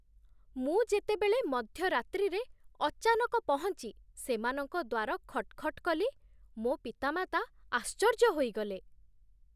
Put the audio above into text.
ମୁଁ ଯେତେବେଳେ ମଧ୍ୟରାତ୍ରିରେ ଅଚାନକ ପହଞ୍ଚି ସେମାନଙ୍କ ଦ୍ୱାର ଖଟ୍ ଖଟ୍ କଲି, ମୋ ପିତାମାତା ଆଶ୍ଚର୍ଯ୍ୟ ହୋଇଗଲେ।